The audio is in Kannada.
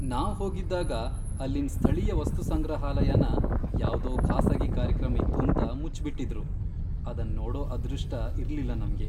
ನಾವ್ ಹೋಗಿದ್ದಾಗ ಅಲ್ಲಿನ್ ಸ್ಥಳೀಯ ವಸ್ತುಸಂಗ್ರಹಾಲಯನ ಯಾವ್ದೋ ಖಾಸಗಿ ಕಾರ್ಯಕ್ರಮ ಇತ್ತೂಂತ ಮುಚ್ಬಿಟಿದ್ರು, ಅದನ್ ನೋಡೋ ಅದೃಷ್ಟ ಇರ್ಲಿಲ್ಲ ನಮ್ಗೆ.